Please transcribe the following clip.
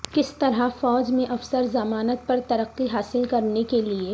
کس طرح فوج میں افسر ضمانت پر ترقی حاصل کرنے کے لئے